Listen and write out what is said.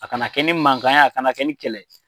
A kana kɛ ni mankan ye a kana kɛ ni kɛlɛ ye.